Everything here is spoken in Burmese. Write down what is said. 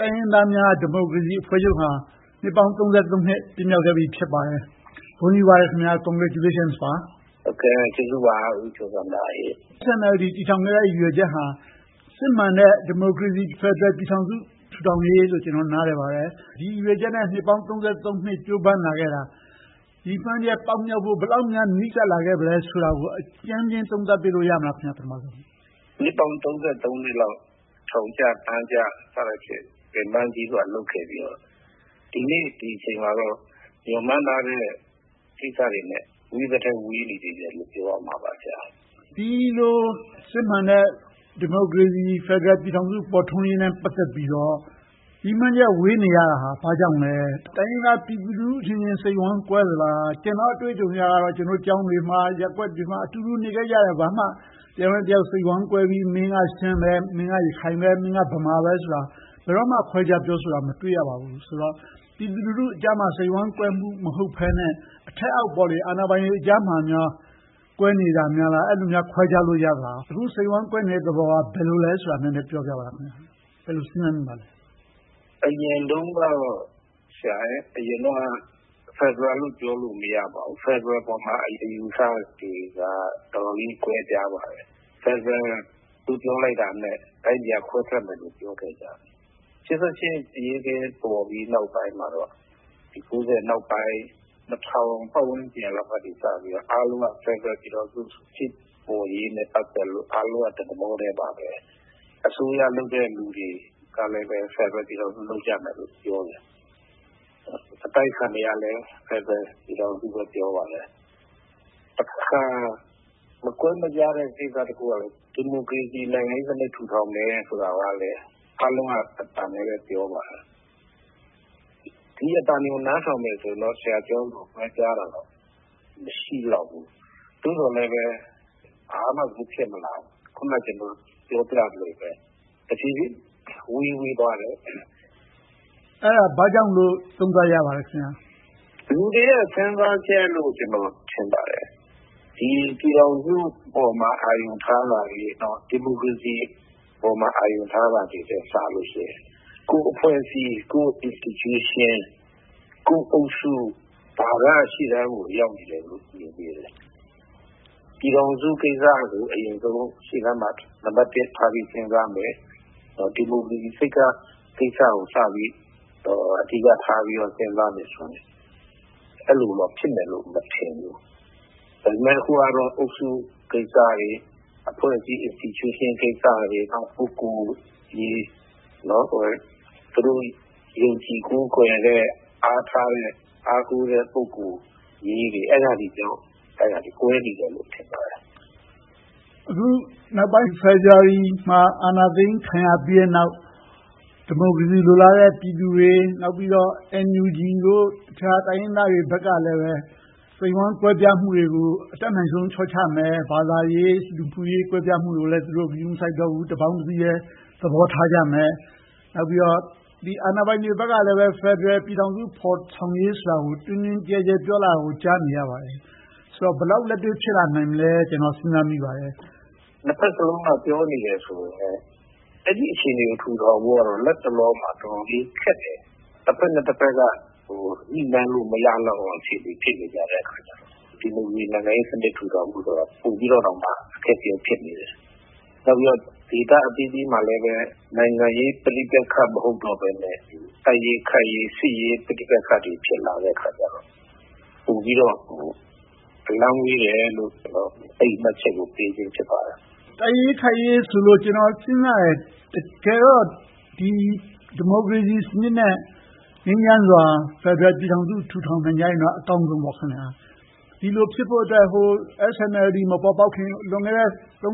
တိုင်းရင်းသားများ ဒီမိုကရေစီအဖွဲ့ချုပ်ဟာ နှစ်ပေါင်း နှစ် ပြည့်မြောက်ခဲ့ပြီ ဖြစ်ပါတယ်။ ဂုဏ်ယူပါတယ် - congratulations ပါ။ SNLD တည်ထောင်ခဲ့တဲ့ ရည်ရွယ်ချက်ဟာ စစ်မှန်တဲ့ ဒီမိုကရေစီ ဖယ်ဒရယ်ပြည်ထောင်စု တည်ထောင်ရေးလို့ ကျနော် နားလည်ပါတယ်။ ဒီရည်ရွယ်ချက်နဲ့ နှစ်ပေါင်း နှစ် ကြိုးပမ်းလာခဲ့တာ ရည်မှန်းချက်ပေါက်မြောက်ဖို့ ဘယ်လောက်များ နီးကပ်လာခဲ့ပြီလဲဆိုတာကို အကြမ်းမျဉ်းသုံးသပ်ပေးလို့ ရမလား။ ဖြေ ။ ။ ကျေးဇူးပါ ဦးကျော်ဇံသာ။ နှစ်ပေါင်း နှစ်လောက် ထောင်ကျတန်းကျ ပင်ပန်းကြီးစွာ လုပ်ခဲ့ပြီးတော့ ဒီနေ့ဒီအချိန်မှာတော့ မျှော်မှန်းထားတဲ့ကိစ္စတွေနဲ့ ဝေးသထက်ဝေးနေတယ်လို့ ပြောရမှာပါ ဆရာ။ မေး ။ ။ ဒီလိုစစ်မှန်တဲ့ ဖယ်ဒရယ်ဒီမိုကရေစီ ပြည်ထောင်စု ပေါ်ထွက်ရေးနဲ့ ပတ်သက်ပြီးတော့ ရည်မှန်းချက် ဝေးနေရတာဟာ ဘာကြောင့်လဲ။ တိုင်းရင်းသားပြည်သူအချင်းချင်း စိတ်ဝမ်းကွဲသလား။ ကျနော့် အတွေ့အကြုံအရတော့ ကျောင်းတွေမှာ၊ ရပ်ကွက်တွေမှာ အတူတူနေခဲ့ကြတာ၊ ဘာမှ တယောက်နဲ့တယောက် စိတ်ဝမ်းကွဲပြီး မင်းကရှမ်း၊ မင်းကရခိုင်၊ မင်းကဗမာပဲဆိုတာ ဘယ်တော့မှ ခွဲခြားပြောဆိုတာ မတွေ့ရပါဘူးဆိုတော့ ပြည်သူလူထုကြားမှာ စိတ်ဝမ်းကွဲမှု မဟုတ်ဘဲနဲ့၊ အထက်-အောက် အာဏာပိုင်တွေကြားမှာများ ကွဲနေတာများလား။ အဲဒီလို ခွဲခြားလို့ရသလား။ အခု စိတ်ဝမ်းကွဲနေတဲ့သဘောက ဘယ်လိုလဲဆိုတာကို နည်းနည်းပြောပြပါလား။ ဘယ်လိုစဉ်းစားမိပါသလဲ။ ဖြေ ။ ။ အရင်တုန်းကတော့ ဖယ်ဒရယ်လို့ ပြောလို့မရဘူး။ ဖယ်ဒရယ်ပေါ်မှာ အယူအဆတွေကတော့ တော်တော်လေးကွဲပြားပါတယ်။ ဖယ်ဒရယ်လို့ ပြောလိုက်တာနဲ့ တိုင်းပြည်က ခွဲထွက်ကြမယ်လို့ ပြောခဲ့ကြတယ်။ ရှစ်ဆယ့်ရှစ်အရေးခင်း ပေါ်ပြီးနောက်ပိုင်းမှာတော့ ၉၀ နောက်ပိုင်း ၂၀၀၀ ပတ်ဝန်းကျင်လောက်ကစပြီး အားလုံးက ဖယ်ဒရယ်ပြည်ထောင်စု ဖြစ်ပေါ်ရေးနဲ့ ပတ်သက်ပြီးတော့ အားလုံးက တသဘောထဲပါပဲ။ အစိုးရလုပ်တဲ့လူတွေကလည်း ဖယ်ဒရယ်ပြည်ထောင်စု လုပ်ကြမယ်လို့ ပြောတယ်။ အတိုက်အခံတွေကလည်း ဖယ်ဒရယ်ပြည်ထောင်စုပဲ ပြောပါတယ်။ တခါ မကွဲမပြားတဲ့ ကိစ္စတခုကတော့ ဒီမိုကရေစီ နိုင်ငံရေးစနစ် တည်ထောင်မယ်ဆိုတာကိုလည်း အားလုံးက တသံထဲပြောပါတယ်။ ဒီအသံတွေကို နားထောင်မယ်ဆိုရင်တော့ ဆရာပြောသလို ကွဲပြားတာတော့ မရှိလောက်ဘူး။ သို့သော်လဲပဲ ဘာမှကို ဖြစ်မလာဘူး။ အခုနပြောသလိုပဲ တဖြည်းဖြည်းဝေးသွားခဲ့တယ်။ မေး ။ ။ အဲဒါ ဘာကြောင့်လို့ သုံးသပ်ရပါသလဲ။ ဖြေ ။ ။ လူတွေရဲ့ စဉ်းစားချက်လို့ ကျနော် ထင်ပါတယ်။ ဒီပြည်ထောင်စုပေါ် ခံယူထားတာတွေ၊ ဒီမိုကရေစီပေါ် အာရုံထားတာထက်စာရင် ကိုယ့်အဖွဲ့အစည်း၊ ကိုယ့် institution, ကိုယ့်အုပ်စုတွေက ရှေ့တန်းရောက်နေတယ်လို့ မြင်မိတယ်။ ပြည်ထောင်စုကိစ္စကို အရင်ဆုံး ရှေ့တန်းမှာ နံပတ်တစ်ထားပြီး စဉ်းစားမယ်။ ဒီမိုကရေစီကိစ္စကို စပြီးတော့ အဓိကထားပြီး စဉ်းစားမယ်ဆိုရင်တော့ အဲဒီလိုတော့ ဖြစ်မယ်မထင်ဘူး။ ဒါပေမဲ့ အခုကတော့ အုပ်စုကိစ္စတွေ၊ အဖွဲ့အစည်း institution ကိစ္စတွေ၊ ပုဂ္ဂိုလ်ရေး၊ သူတို့ယုံကြည်ကိုးကွယ်တဲ့ အားထားတဲ့ အားကိုးတဲ့ ပုဂ္ဂိုလ်ရေးတွေ အဲဒါတွေကြောင့် ကွဲနေတယ်လို့ ထင်ပါတယ်။ မေး ။ ။ အခု ဖေဖေါ်ဝါရီမှာ အာဏာသိမ်းခံရပြီးတဲ့နောက် ဒီမိုကရေစီ လိုလားတဲ့ ပြည်သူတွေ။ နောက်ပြီးတော့ NUG တို့၊ အခြားတိုင်းရင်းသားတွေဘက်ကလည်း စိတ်ဝမ်းကွဲပြားမှုတွေကို အတတ်နိုင်ဆုံး လျှော့ချမယ်။ ဘာသာရေး၊ လူမှုရေး ကွဲပြားမှုတွေကိုလည်း သူတို့ ဂရုမစိုက်တော့ဘူး။ တပေါင်းတစည်းထဲ သဘောထားကြမယ်။ နောက်ပြီးတော့ အာဏာပိုင်တွေဘက်ကလည်း ဖယ်ဒရယ်ပြည်ထောင်စု ဖော်ဆောင်ရေးဆိုတာကို တွင်တွင်ကျယ်ကျယ် ပြောလာတာကို ကြားနေရပါတယ်။ ဆိုတော့ ဘယ်လောက်လက်တွေ့ ဖြစ်လာနိုင်မလဲလို့ ကျနော် စဉ်းစားမိပါတယ်။ ဖြေ ။ ။ နှစ်ဘက်စလုံးက ပြောနေတယ်ဆိုပေမယ့် အဲဒီအခြေအနေ ထူထောင်ဖို့ကတော့ လက်တလောမှာ တော်တော်လေးခက်တယ်။ တဘက်နဲ့တဘက်က ညှိနှိုင်းလို့ မရနိုင်လောက်တဲ့ အခြေအနေ ဖြစ်နေကြတဲ့အခါကြတော့ ဒီမိုကရေစီ နိုင်ငံရေးစနစ် တည်ထောင်ဖို့ဆိုတာ ပိုပြီးတော့တောင် အခက်အခဲ ဖြစ်နေတယ်။ နောက်ပြီးတော့ ဒေသအသီးသီးမှာလဲ နိုင်ငံရေးပဋိပက္ခ မဟုတ်တော့ဘဲနဲ့ တိုက်ရေးခိုက်ရေး စစ်ရေးပဋိပက္ခတွေ ဖြစ်လာတဲ့အခါကြတော့ ပိုပြီးတော့ အလှမ်းဝေးတယ်လို့ ကျနော်က အဲဒီမှတ်ချက်ကို ပေးခြင်းဖြစ်ပါတယ်။ မေး ။ ။ တိုက်ရေးခိုက်ရေးဆိုလို့ ကျနော် စဉ်းစားမိတယ် - တကယ်တော့ ဒီမိုကရေစီစနစ်နဲ့ ငြိမ်းချမ်းစွာ ဖယ်ဒရယ်ပြည်ထောင်စု တည်ထောင်ကြရင်တော့ အကောင်းဆုံးပေါ့။ ဒီလိုဖြစ်ဖို့အတွက် SNLD မပေါ်ပေါက်ခင် လွန်ခဲ့တဲ့ နှစ်